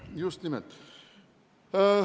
Just nimelt.